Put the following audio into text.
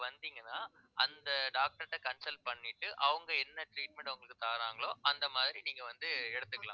வந்தீங்கன்னா அந்த doctor ட்ட consult பண்ணிட்டு அவங்க என்ன treatment உங்களுக்கு தர்றாங்களோ அந்த மாதிரி நீங்க வந்து எடுத்துக்கலாம்